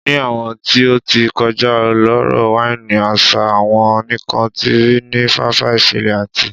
Ni awọn ti o ti kọja ọlọrọ waini asa won nikan ti ri ni fafa iṣẹlẹ ati